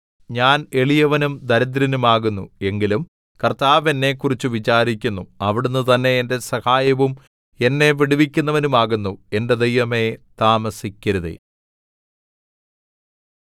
ഞാൻ എളിയവനും ദരിദ്രനും ആകുന്നു എങ്കിലും കർത്താവ് എന്നെക്കുറിച്ച് വിചാരിക്കുന്നു അവിടുന്ന് തന്നെ എന്റെ സഹായവും എന്നെ വിടുവിക്കുന്നവനും ആകുന്നു എന്റെ ദൈവമേ താമസിക്കരുതേ